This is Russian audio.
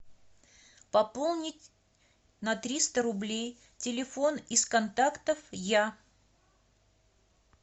пополнить на триста рублей телефон из контактов я